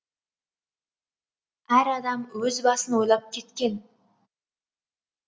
әр адам өз басын ойлап кеткен